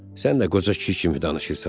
Sən də qoca kişi kimi danışırsan.